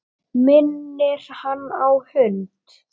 Minnir hann á hund.